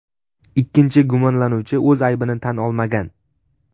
Ikkinchi gumonlanuvchi o‘z aybini tan olmagan.